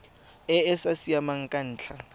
e sa siamang ka ntlha